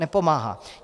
Nepomáhá.